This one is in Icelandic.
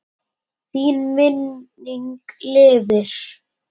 Þín minning lifir.